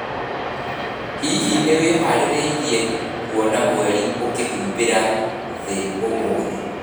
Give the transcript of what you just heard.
Hihi nĩ wĩhaarĩirie kuona mweri ũkĩhumbĩra thĩ ũmũthĩ?